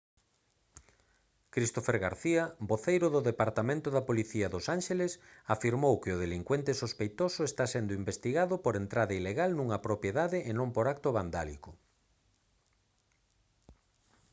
christopher garcía voceiro do departamento da policía dos ánxeles afirmou que o delincuente sospeitoso está sendo investigado por entrada ilegal nunha propiedade e non por acto vandálico